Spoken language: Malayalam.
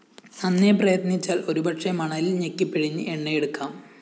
നന്നെ പ്രയത്‌നിച്ചാല്‍ ഒരുപക്ഷേ മണലില്‍ ഞെക്കിപ്പിഴിഞ്ഞ് എണ്ണയെടുക്കാം